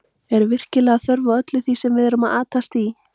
Er virkilega þörf á öllu því sem við erum að atast í?